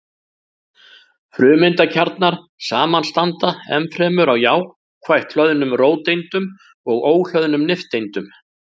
Frumeindakjarnar samanstanda ennfremur af jákvætt hlöðnum róteindum og óhlöðnum nifteindum.